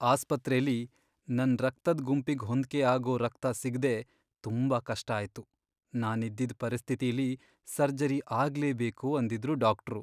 ಆಸ್ಪತ್ರೆಲಿ ನನ್ ರಕ್ತದ್ ಗುಂಪಿಗ್ ಹೊಂದ್ಕೆ ಆಗೋ ರಕ್ತ ಸಿಗ್ದೇ ತುಂಬಾ ಕಷ್ಟ ಆಯ್ತು. ನಾನಿದ್ದಿದ್ ಪರಿಸ್ಥಿತಿಲಿ ಸರ್ಜರಿ ಆಗ್ಲೇಬೇಕು ಅಂದಿದ್ರು ಡಾಕ್ಟ್ರು.